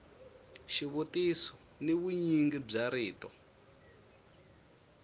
xivutiso ni vunyingi bya rito